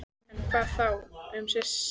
En hvað þá um syni mína?